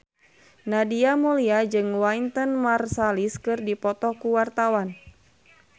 Nadia Mulya jeung Wynton Marsalis keur dipoto ku wartawan